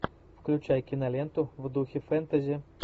включай киноленту в духе фэнтези